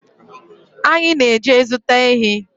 Anyị na-eje zụta ehi